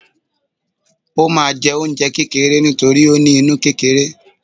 o ma jẹ oúnjẹ kekere nítorí o ní inú kerere